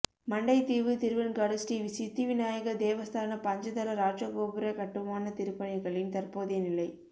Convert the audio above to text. மண்டைதீவு திருவெண்காடு ஸ்ரீ சித்திவிநாயகர் தேவஸ்தான பஞ்சதள இராஜகோபுர கட்டுமான திருப்பணிகளின் தற்போதைய நிலை